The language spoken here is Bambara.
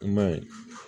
I m'a ye